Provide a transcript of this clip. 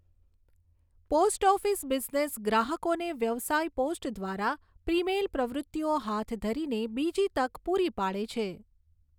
Post office business ગ્રાહકોને વ્યવસાય post દ્વારા પ્રીમેલ પ્રવૃતિઓ હાથ ધરીને બીજી તક પૂરી પાડે છે.